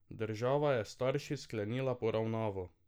Država je s starši sklenila poravnavo.